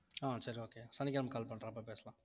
ஆஹ் சரி okay சனிக்கிழமை call பண்றேன் அப்ப பேசலாம்